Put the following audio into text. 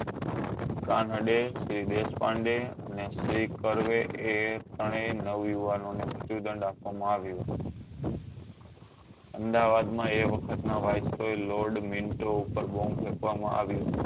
Kanade Shri Deshpande અને શ્રી કર્વે એ ત્રણ એ નવ યુવાનો ને મૃત્યુ દંડ આપવા માં આવ્યો અમદાવાદ માં એ વક્ખ્ત નાં wiseroy lord minto ઉપર bomb ફેકવા માં આવ્યો